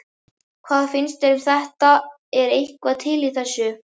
Hvað finnst þér um þetta er eitthvað til í þessu?